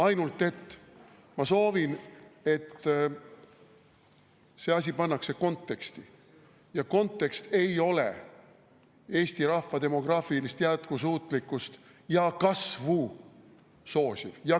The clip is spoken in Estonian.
Aga ma soovin, et see asi pannakse konteksti, ja kontekst ei ole Eesti rahva demograafilist jätkusuutlikkust ja kasvu soosiv.